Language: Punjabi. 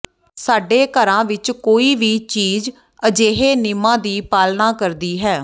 ਸਾਡੇ ਘਰਾਂ ਵਿਚ ਕੋਈ ਵੀ ਚੀਜ਼ ਅਜਿਹੇ ਨਿਯਮਾਂ ਦੀ ਪਾਲਣਾ ਕਰਦੀ ਹੈ